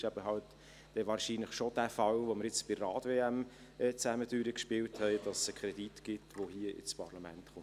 Der Fall, den wir nun bei der Rad-WM zusammen durchgespielt haben, ist wahrscheinlich realistischer, nämlich, dass es einen Kredit gibt, der hier ins Parlament kommt.